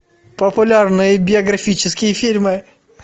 популярные биографические фильмы